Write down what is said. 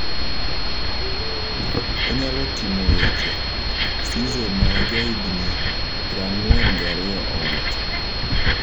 Onyalo timo weche,"Cisse ma jahigni prang'uen gariyo owacho.